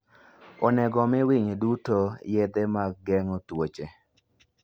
Onego omi winy duto yedhe mag geng'o tuoche.